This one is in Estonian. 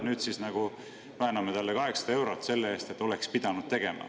Nüüd siis me nagu vääname talle 800 eurot selle eest, mis ta oleks pidanud tegema.